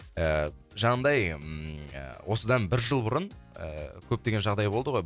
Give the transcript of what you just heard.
ііі жаңағындай осыдан бір жыл бұрын ііі көптеген жағдай болды ғой